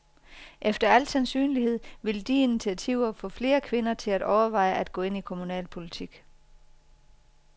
Efter al sandsynlighed vil de initiativer få flere kvinder til at overveje at gå ind i kommunalpolitik.